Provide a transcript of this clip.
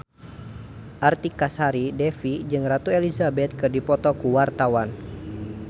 Artika Sari Devi jeung Ratu Elizabeth keur dipoto ku wartawan